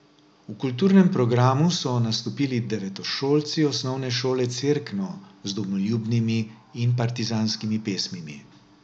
V kulturnem programu so nastopili devetošolci osnovne šole Cerkno z domoljubnimi in partizanskimi pesmimi.